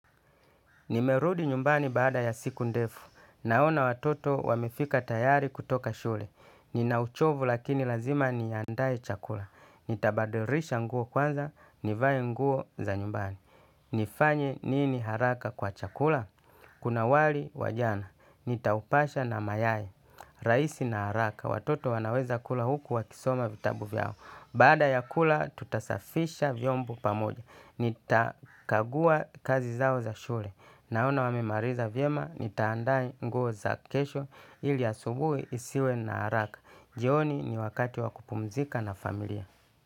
Nimerudi nyumbani baada ya siku ndefu. Naona watoto wamefika tayari kutoka shule. Nina uchovu lakini lazima niandae chakula. Nitabadilisha nguo kwanza, nivae nguo za nyumbani. Nifanye nini haraka kwa chakula? Kuna wali wa jana. Nitaupasha na mayai. Raisi na haraka. Watoto wanaweza kula huku wakisoma vitabu vyao. Baada ya kula, tutasafisha vyombo pamoja. Nitakagua kazi zao za shule. Naona wamemaliza vyema, nitaandaa nguo za kesho ili asubuhi isiwe na haraka. Jioni ni wakati wa kupumzika na familia.